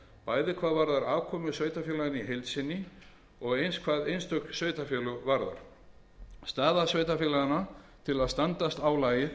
bæði hvað varðar afkomu sveitarfélaganna í heild sinni og eins hvað einstök sveitarfélög varðar staða sveitarfélaganna til að standast álagið